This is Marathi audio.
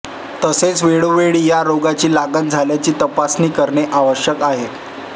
तसेच वेळोवेळी या रोगाची लागण झाल्याची तपासणी करणे आवश्यक आहे